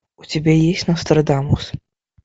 у тебя есть нострадамус